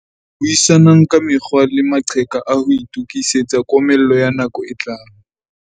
Buisanang ka mekgwa le maqheka a ho itokisetsa komello ya nako e tlang.